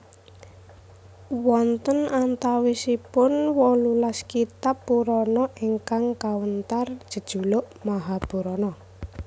Wonten antawisipun wolulas kitab Purana ingkang kawéntar jejuluk “Mahapurana”